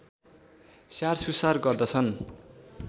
स्याहारसुसार गर्दछन्